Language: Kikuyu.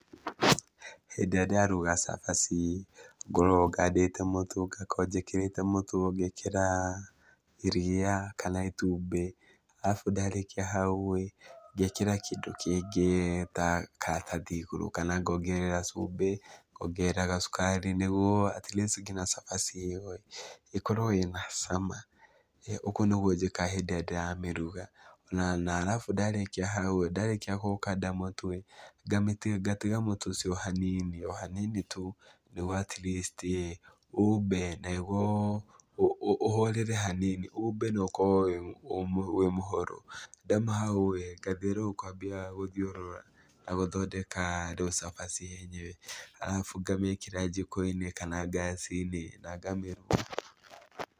Hĩndĩ ĩrĩa ndĩraruga cabaci, ngoragwo ngandĩte mũtu, ngakorwo njĩkĩrĩte mũtu, ngekĩra iria kana itumbĩ, arabu ndarĩkia hau-rĩ, ngekĩra kĩndũ kĩngĩ ta karatathi igũrũ kana ngongerera cumbĩ, ngongerera gacukari, nĩguo at least nginya cabaci ĩyo-ĩ ĩkorwo ĩna cama, ũguo nĩguo njĩkaga hĩndĩ ĩrĩa ndĩramĩruga ona na arabu ndarĩkia hau-ĩ, ndarĩkia gũkanda mũtu-ĩ, ngatiga mũtu ũcio hanini, o hanini tu nĩguo at least ĩ umbe na nĩguo ũhorere hanini umbe na ũkorwo wĩmũhoro. Ndaima hau-ĩ, ngathiĩ rĩu ngambia gũthiũrũra na gũthondeka rĩu cabaci yenyewe arabu ngamĩkĩra njiko-inĩ kana ngaci-inĩ na ngamĩruga.